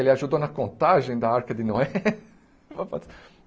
Ele ajudou na contagem da Arca de Noé?